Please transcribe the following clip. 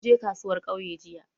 Mun je kasuwar ƙauye jiya